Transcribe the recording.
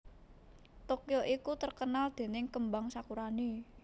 Tokyo iku terkenal dening kembang sakurane